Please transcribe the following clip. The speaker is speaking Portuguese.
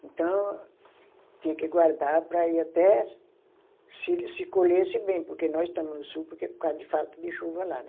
Então, tinha que guardar para ir até se, se se colhesse bem, porque nós estamos no sul porque, por de falta de chuva lá, né?